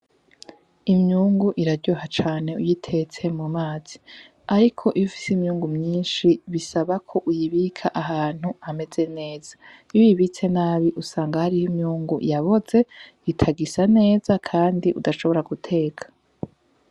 Imyungu iraryoha cane uyitetse mu mazi, ariko iyo ufise imyungu myinshi bisaba ko uyibika ahantu hameze neza. Iyo uyibitse nabi usanga hariho imyungu yaboze, itagisa neza kandi udashobora guteka.